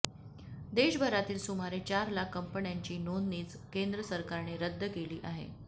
देशभरातील सुमारे चार लाख कंपन्यांची नोंदणीच केंद्र सरकारने रद्द केली आहे